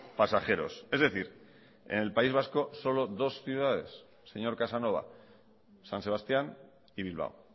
pasajeros es decir en el país vasco solo dos ciudades señor casanova san sebastián y bilbao